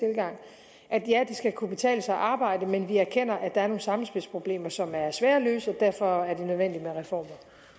at ja det skal kunne betale sig at arbejde men vi erkender at der er nogle sammenspilsproblemer som er svære at løse og derfor er det nødvendigt med reformer